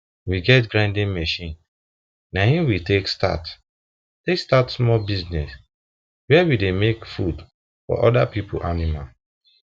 we get grinding machine na him we take start take start small business where we dey make food for other people animal